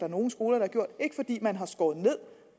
nogle skoler har gjort ikke fordi man har skåret ned